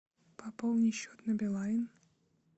пополни счет на билайн